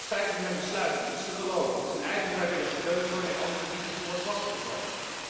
Het feit dat men besluit om iets te geloven, is een eigen vrijwillige keuze waarmee anderen niet moeten worden lastig gevallen.